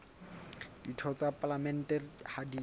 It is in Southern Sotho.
ditho tsa palamente ha di